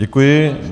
Děkuji.